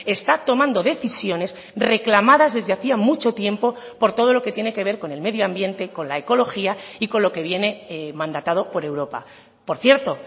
está tomando decisiones reclamadas desde hacía mucho tiempo por todo lo que tiene que ver con el medio ambiente con la ecología y con lo que viene mandatado por europa por cierto